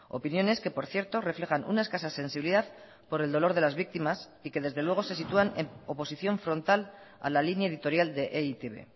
opiniones que por cierto reflejan una escasa sensibilidad por el dolor de las víctimas y que desde luego se sitúan en oposición frontal a la línea editorial de e i te be